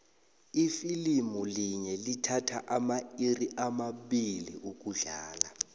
ifilimu linye lithatha amairi amabili ukudlala